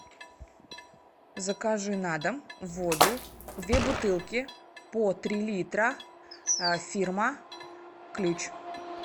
закажи на дом воду две бутылки по три литра фирма ключ